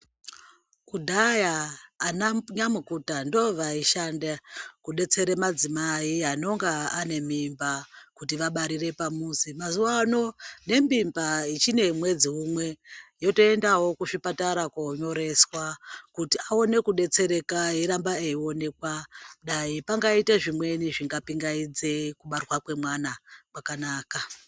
Kudhaya ana nyamukuta ndovaishanda kudetsera madzimai anonga ane mimba kuti vabarire pamuzi. Mazuwano nembimba ichine mwedzi umwe yotoendawo kuzvipatara konyoreswa kuti aone kudetsereka eiramba eionekwa dai pangaite zvimweni zvingapingaidze kubarwa kwemwana kwakanaka.